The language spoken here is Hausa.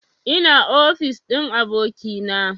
Ina ofis ɗin abokina